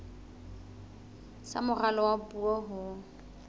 sa moralo wa puo ho